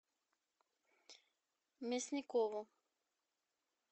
мясникову